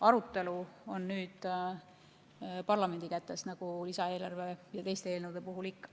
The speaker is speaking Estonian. Arutelu on nüüd parlamendi kätes, nagu lisaeelarve ja teiste eelnõude puhul ikka.